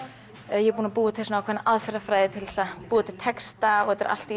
ég er búin að búa til ákveðna aðferðafræði til að búa til texta og þetta er allt í